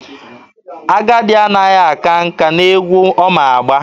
Agadi anaghị aka nka n'egwu ọ ma agba.